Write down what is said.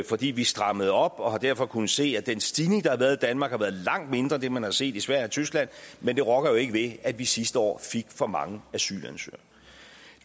fordi vi strammede op og vi har derfor kunnet se at den stigning der har været i danmark har været langt mindre end den man har set i sverige og tyskland men det rokker jo ikke ved at vi sidste år fik for mange asylansøgere